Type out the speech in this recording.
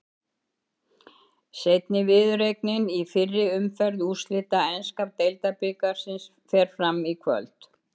Seinni viðureignin í fyrri umferð úrslita enska deildabikarsins fer fram í kvöld.